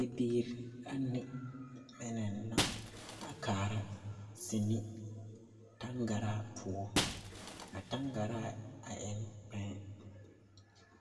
Bibiiri ane mine la a kaara seni taŋgaraa poɔ a taŋgaraa a eŋ kpɛɛ